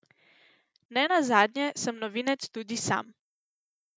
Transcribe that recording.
Ne nazadnje sem novinec tudi sam.